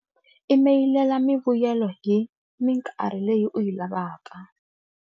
Imeyilela mivuyelo hi mikarhi leyi u yi lavaka.